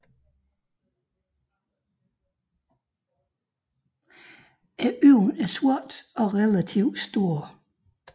Øjnene er sorte og relativt store